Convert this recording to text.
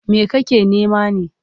Me kake nema ne?